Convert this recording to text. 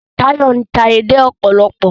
Tayo n'ta èdè òpòlopò